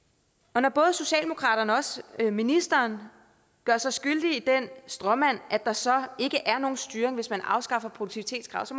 når både socialdemokraterne og også ministeren gør sig skyldige i den stråmand at der så ikke er nogen styring hvis man afskaffer produktivitetskravet så